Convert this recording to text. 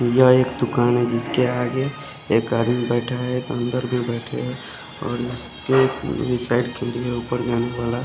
यहाँ एक दूकान है जिसके आगे एक आदमी बेठा है एक अन्दर भी बेठे है और उसके साइड खिल्ली है उपर--